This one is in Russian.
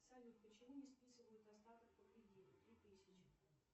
салют почему не списывают остаток по кредиту три тысячи